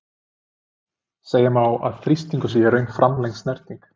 Segja má að þrýstingur sé í raun framlengd snerting.